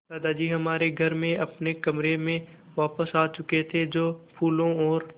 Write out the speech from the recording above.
दादाजी हमारे घर में अपने कमरे में वापस आ चुके थे जो फूलों और